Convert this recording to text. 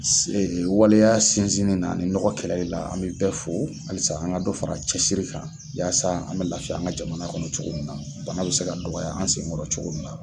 Se e waleya sinzinni na ani nɔgɔ kɛlɛli la an be bɛɛ fo halisa an ka dɔ fara cɛsiri kan yaasa an be lafiya an ka jamana kɔnɔ cogo min na bana be se ka dɔgɔya an senkɔrɔ cogo min na